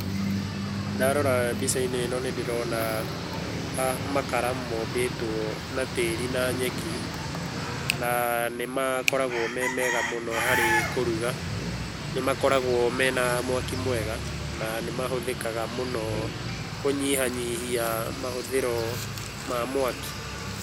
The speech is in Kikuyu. Ndarora mbica-inĩ ĩno nĩ ndĩrona makara mombĩtwo na tĩĩri na nyeki na nĩ makoragwo me mega mũno harĩ kũruga. Nĩ makoragwo mena mwaki mwega na nĩmahũthĩkaga mũno kũnyihanyihia mahũthĩro ma mwaki.